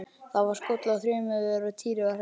Það var skollið á þrumuveður og Týri var hræddur.